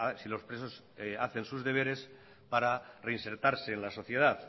si los presos hacen sus deberes para reinsertarse en la sociedad